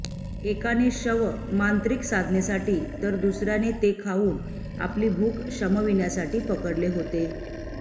एकाने शव मांत्रिक साधनेसाठी तर दुसर्याने ते खाऊन आपली भूख शमविण्यासाठी पकडले होते